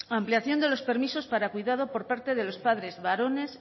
ampliación de los permisos para cuidado por parte de los padres varones